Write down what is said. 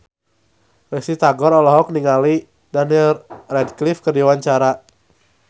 Risty Tagor olohok ningali Daniel Radcliffe keur diwawancara